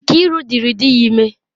Nkiru dịrị di ya ime.